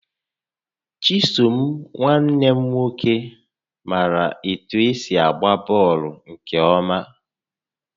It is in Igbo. Chisom nwanne m nwoke maara etụ esi agba bọọlụ nkè ọma